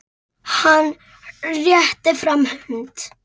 Hann réttir fram hönd.